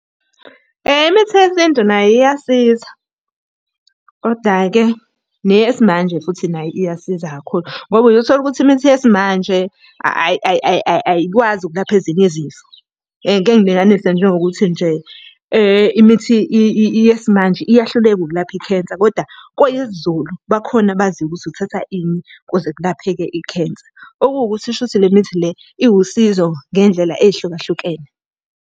Imithi yesintu nayo iyasiza, koda-ke neyesimanje futhi nayo iyasiza kakhulu, ngoba uye uthole ukuthi imithi yesimanje ayikwazi ukulapha ezinye izifo. Ngike ngilinganise njengokuthi nje, imithi yesimanje iyahluleka ukulapha i-cancer, koda kweyesiZulu bakhona abaziyo ukuthi uthatha ini ukuze kulapheke i-cancer. Okuwukuthi shuthi le mithi le iwusizo ngendlela ey'hlukahlukene.